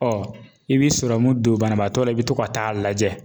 i bi don banabaatɔ la, i bi to ka taa lajɛ